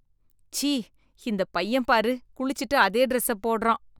ச்சீ, இந்த பையன் பாரு குளிச்சிட்டு அதே டிரஸ்ஸ போடுறான்.